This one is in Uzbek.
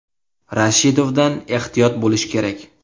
Rashidovdan ehtiyot bo‘lish kerak.